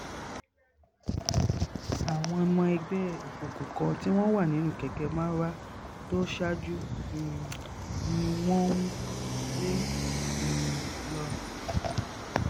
àwọn ọmọ ẹgbẹ́ òkùnkùn kan tí wọ́n wà nínú kẹ̀kẹ́ marwa tó ṣáájú um ni wọ́n ń lé um lọ